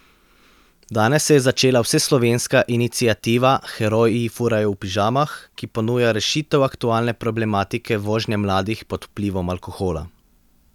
Danes se je začela vseslovenska iniciativa Heroji furajo v pižamah, ki ponuja rešitev aktualne problematike vožnje mladih pod vplivom alkohola.